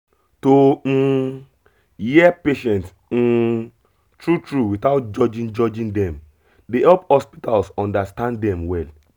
to um hear patient um true true without judging judging dem dey help hospitals understand dem well